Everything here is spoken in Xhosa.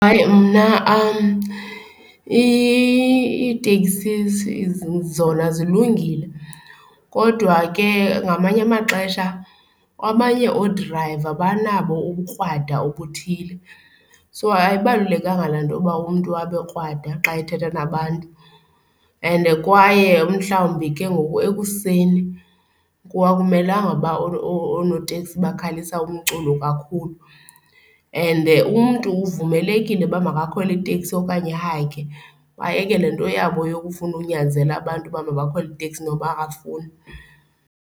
Hayi, mna iitekisi zona zilungile, kodwa ke ngamanye amaxesha abanye oodrayiva banabo ubukrwada obuthile. So, ayibalulekanga laa nto yoba umntu abe krwada xa ethetha nabantu, and kwaye mhlawumbi ke ngoku ekuseni kwawumelanga uba oonoteksi bakhalisa umculo kakhulu. And umntu uvumelekile uba makakhwele iteksi okanye ahayikhe. Bayeke le nto yabo yokufuna unyanzela abantu uba mabakhwele iiteksi noba akafuni.